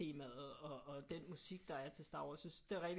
Temaet og den musik der er til Star Wars synes det er rigtig